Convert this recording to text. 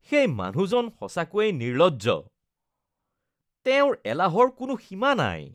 সেই মানুহজন সঁচাকৈয়ে নিৰ্লজ্জ। তেওঁৰ এলাহৰ কোনো সীমা নাই।